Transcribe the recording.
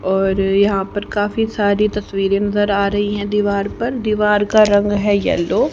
और यहां पर काफी तस्वीरें नजर आ रही हैं दीवार पर दीवार का रंग है येलो ।